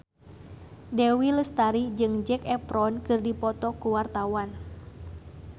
Dewi Lestari jeung Zac Efron keur dipoto ku wartawan